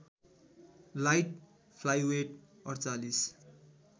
light flyweight ४८